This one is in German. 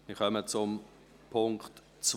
Wir kommen zu Punkt 2.